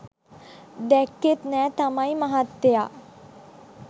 දැක්‌කෙත් නැහැ තමයි මහත්තයා